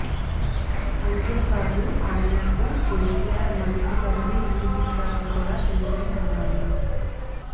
అంతేకాదు ఆయనకు కేసీఆర్ మంత్రి పదవి ఎందుకిచ్చారో కూడా తెలుసని అన్నారు